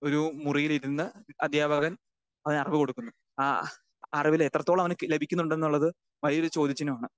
Speaker 2 ഒരു മുറിയിലിരുന്ന് അധ്യാപകൻ അവനറിവ് കൊടുക്കുന്നു. ആ അറിവിലെത്രത്തോളമാവാന് ലഭിക്കുന്നുണ്ടെന്നുള്ളത് വലിയൊരു ചോദ്യചിഹ്നമാണ്.